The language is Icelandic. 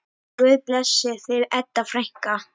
Guð blessi þig, Edda frænka.